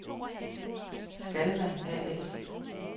Skalma A/S